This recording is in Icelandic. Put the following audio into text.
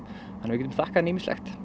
við getum þakkað henni ýmislegt